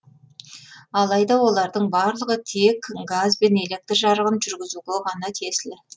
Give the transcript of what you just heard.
алайда олардың барлығы тек газ бен электр жарығын жүргізуге ғана тиесілі